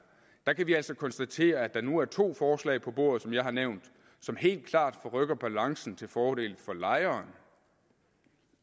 kan vi altså konstatere at der nu er to forslag på bordet som jeg har nævnt som helt klart forrykker balancen til fordel for lejeren